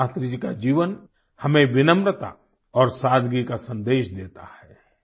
वहीं शास्त्री जी का जीवन हमें विनम्रता और सादगी का संदेश देता है